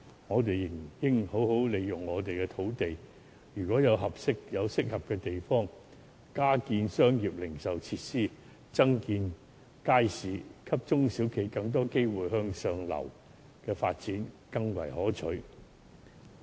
我們仍應好好利用土地，在適合的地點加建商業零售設施和街市，給中小企更多機會向上流發展。